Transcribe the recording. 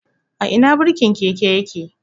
A Ina birkin keke yake?